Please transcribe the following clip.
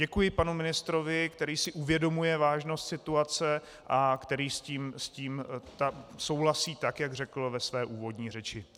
Děkuji panu ministrovi, který si uvědomuje vážnost situace a který s tím souhlasí, tak jak řekl ve své úvodní řeči.